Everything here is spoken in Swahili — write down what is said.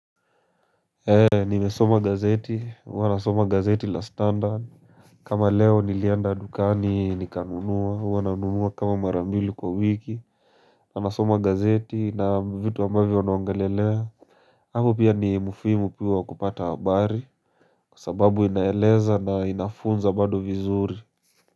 Ee nimesoma gazeti huwa wanasoma gazeti la standard kama leo nilienda dukani nikanunua huwa nanunua kama mara mbili kwa wiki wanasoma gazeti na vitu ambavyo wanaongelelea hapo pia ni mfimu piwa wa kupata habari kwasababu inaeleza na inafunza bado vizuri.